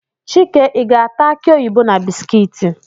Chike ị ga-ata akị oyibo na bisikiiti?